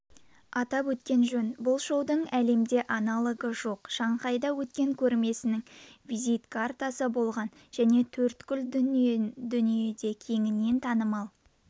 атап өткен жөн бұл шоудың әлемде аналогы жоқ шанхайда өткен көрмесінің визит картасы болған және төрткүл дүниеде кеңінен танымал